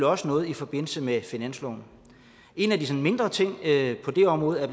også noget i forbindelse med finansloven en af de mindre ting på det område er